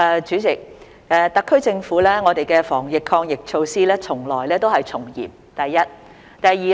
主席，特區政府的防疫抗疫措施從來都是從嚴的，這是第一點。